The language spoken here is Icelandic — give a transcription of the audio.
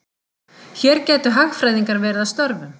Hér gætu hagfræðingar verið að störfum.